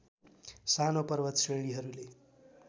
सानो पर्वत श्रेणीहरूले